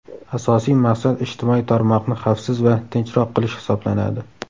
Asosiy maqsad ijtimoiy tarmoqni xavfsiz va tinchroq qilish hisoblanadi.